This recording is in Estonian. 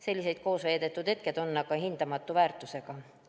Sellised koosveedetud hetked on hindamatu väärtusega.